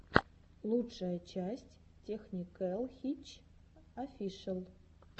лучшая часть тэкникэл хитч офишэл